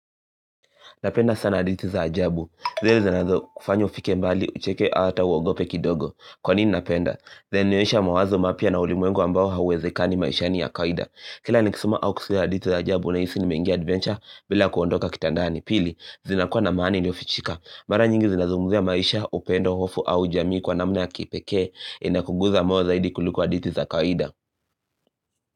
Napenda sana hadithi za ajabu zile zinazo kufanya ufike mbali ucheke ata uogope kidogo Kwa nini napenda zinanionyesha mawazo mapya na ulimwengu ambao hawezekani maishani ya kaida Kila nikisoma au kusulia hadithi za ajabu ninahisi nimengia adventure bila kuondoka kitandani Pili zinakuwa na maani iliyofichika Mara nyingi zinazunguzia maisha upendo hofu au jamii kwa namna ya kipekee Inakunguza moyo zaidi kuliko hadithi za kawaida.